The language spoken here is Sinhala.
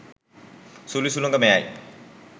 සුළි සුළඟ මෙයයි.